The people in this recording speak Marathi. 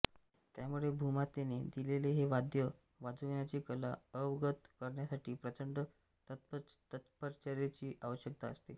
त्यामुळे भूमातेने दिलेले हे वाद्य वाजविण्याची कला अवगत करण्यासाठी प्रचंड तपश्चर्येचीच आवश्यकता असते